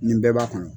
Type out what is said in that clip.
Nin bɛɛ b'a kɔnɔ